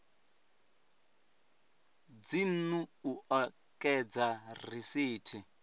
dzinnu u o ekedza risithi